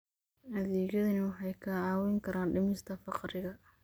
Adeegyadani waxay kaa caawin karaan dhimista faqriga.